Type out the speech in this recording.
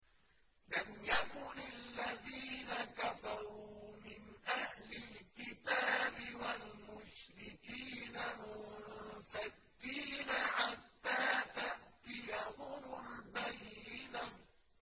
لَمْ يَكُنِ الَّذِينَ كَفَرُوا مِنْ أَهْلِ الْكِتَابِ وَالْمُشْرِكِينَ مُنفَكِّينَ حَتَّىٰ تَأْتِيَهُمُ الْبَيِّنَةُ